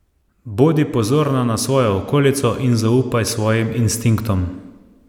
Bodi pozorna na svojo okolico in zaupaj svojim instinktom.